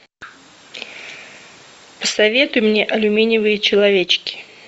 посоветуй мне алюминиевые человечки